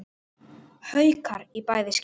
Haukar í bæði skipti.